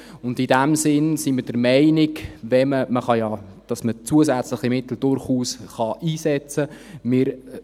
In diesem Sinn sind wir der Meinung, dass man zusätzliche Mittel durchaus einsetzen kann.